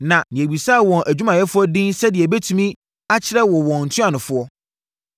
Na yɛbisaa wɔn adwumayɛfoɔ din sɛdeɛ yɛbɛtumi akyerɛ wo wɔn ntuanofoɔ.